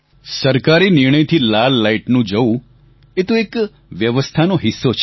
સરકારી નિર્ણયથી લાલ લાઈટનું જવું એ તો એક વ્યવસ્થાનો હિસ્સો છે